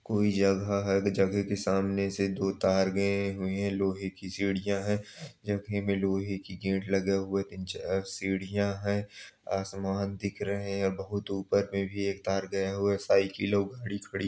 कोई जगह है जगह के सामने से दो तार गये हुए हैं| लोहे की सीढियां है जगह में लोहे की गेट लगा हुआ हैं तीन चार सीढियाँ हैं आसमान दिख रहे हैं बहुत ऊपर में भी एक तार गया हुआ हैं। साइकिले वही खड़ी --